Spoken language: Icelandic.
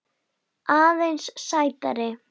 Aðeins sætari.